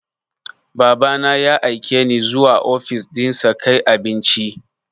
Baba na ya aike ni zuwa ofis ɗinsa kai abinci.